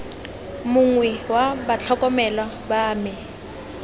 mongwe wa batlhokomelwa ba me